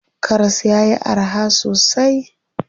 Karas yayi araha sosai.